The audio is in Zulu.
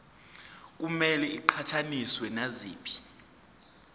kumele iqhathaniswe naziphi